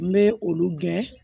N bɛ olu gɛn